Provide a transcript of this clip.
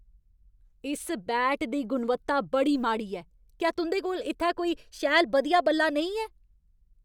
इस बैट दी गुणवत्ता बड़ी माड़ी ऐ। क्या तुं'दे कोल इत्थै कोई शैल बधिया बल्ला नेईं है?